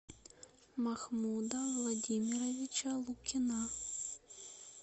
махмуда владимировича лукина